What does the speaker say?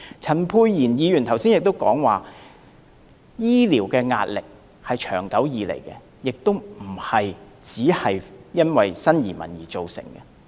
陳沛然議員剛才亦提到，醫療壓力是長久以來的，不單因為新移民而造成。